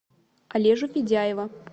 олежу федяева